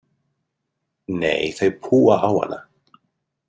Nei, þau púa á hana.